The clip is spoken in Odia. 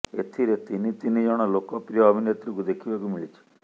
ଏଥିରେ ତିନି ତିନି ଜଣ ଲୋକପ୍ରିୟ ଅଭିନେତ୍ରୀଙ୍କୁ ଦେଖିବାକୁ ମିଳିଛି